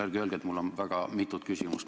Ärge öelge, et mul oli väga mitu küsimust.